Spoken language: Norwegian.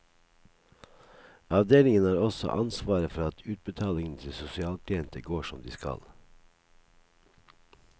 Avdelingen har også ansvaret for at utbetalingene til sosialklienter går som de skal.